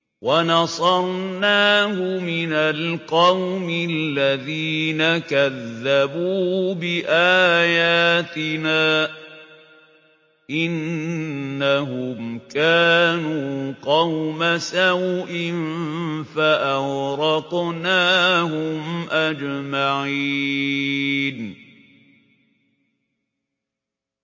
وَنَصَرْنَاهُ مِنَ الْقَوْمِ الَّذِينَ كَذَّبُوا بِآيَاتِنَا ۚ إِنَّهُمْ كَانُوا قَوْمَ سَوْءٍ فَأَغْرَقْنَاهُمْ أَجْمَعِينَ